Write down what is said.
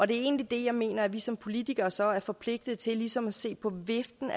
det er egentlig det jeg mener nemlig at vi som politikere så er forpligtet til ligesom at se på viften